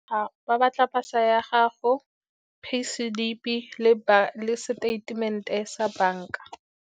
Ba batla pasa ya gago, pay slip-e le seteitemente sa banka.